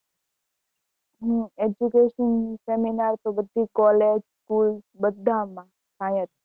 હમ education seminar તો બધી college school બધા માં થાય જ છે